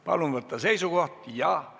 Palun võtta seisukoht!